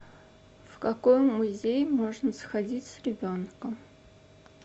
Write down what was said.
в какой музей можно сходить с ребенком